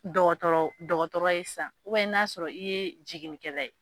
Dɔgɔtɔrɔ dɔgɔtɔrɔ ye san n y'a sɔrɔ i ye jiginikɛla ye.